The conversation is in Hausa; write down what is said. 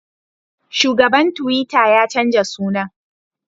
Shugaban tuwita ya canja sunan